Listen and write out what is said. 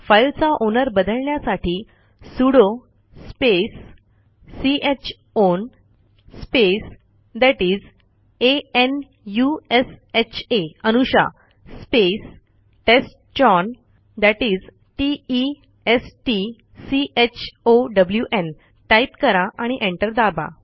फाईलचा ओनर बदलण्यासाठी sudo space c ह own space that is a n u s h आ Anusha space test chown that is t e s t c h o w न् type करा आणि enter दाबा